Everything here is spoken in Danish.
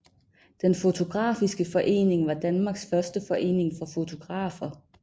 Den photographiske Forening var Danmarks første forening for fotografer